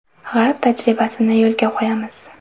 G‘arb tajribasini yo‘lga qo‘yamiz.